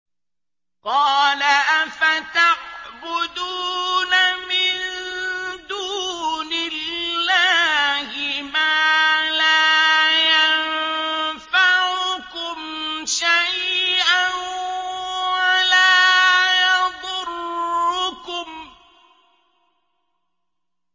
قَالَ أَفَتَعْبُدُونَ مِن دُونِ اللَّهِ مَا لَا يَنفَعُكُمْ شَيْئًا وَلَا يَضُرُّكُمْ